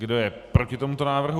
Kdo je proti tomuto návrhu?